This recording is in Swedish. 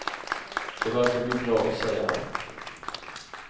Det verkar bli bra, säger han.